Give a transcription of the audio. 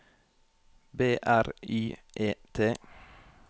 B R Y E T